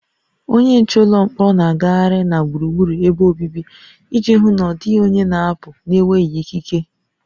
Onye nche ụlọ mkpọrọ na-agagharị na gburugburu ebe obibi iji hụ na ọ dịghị onye na-apụ n'enweghị ikike